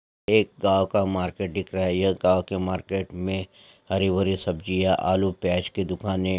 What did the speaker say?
एक गांव का मार्केट दिख रहा है यह गांव के मार्केट में हरी भरी सब्जीया आलू प्याज की दुकाने--